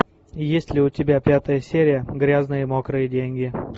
есть ли у тебя пятая серия грязные мокрые деньги